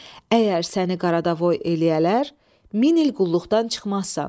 Əgər səni Qaradavoy eləyərlər, min il qulluqdan çıxmazsan.